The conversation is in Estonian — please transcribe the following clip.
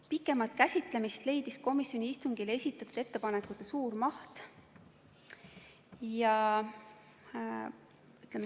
Pikemat käsitlemist leidis komisjoni istungile esitatud ettepanekute suur maht.